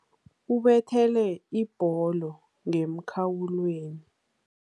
Ubethele ibholo ngemkhawulweni.